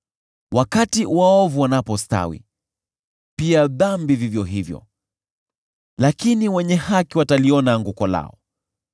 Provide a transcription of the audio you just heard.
Wakati waovu wanapostawi, pia dhambi vivyo hivyo, lakini wenye haki wataliona anguko lao.